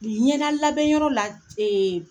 Ni ɲɛdala bɛn yɔrɔ la ce